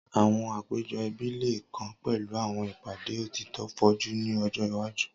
Awọn apejọ ẹbi le kan pẹlu awọn ipade otitọ foju ni ọjọ iwaju.